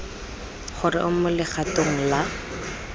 gore o mo legatong la